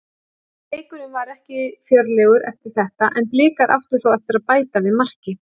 Leikurinn var ekki fjörlegur eftir þetta en Blikar áttu þó eftir að bæta við marki.